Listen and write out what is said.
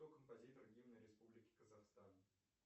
кто композитор гимна республики казахстан